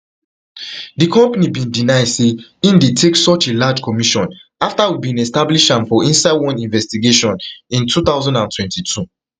di company bin deny say e dey take such a large commission afta we bin establish am for inside one investigation in two thousand and twenty-two